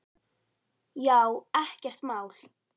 Já, ekkert mál!